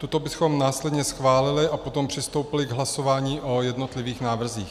Tuto bychom následně schválili a potom přistoupili k hlasování o jednotlivých návrzích.